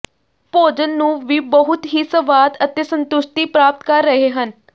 ਭੋਜਨ ਨੂੰ ਵੀ ਬਹੁਤ ਹੀ ਸਵਾਦ ਅਤੇ ਸੰਤੁਸ਼ਟੀ ਪ੍ਰਾਪਤ ਕਰ ਰਹੇ ਹਨ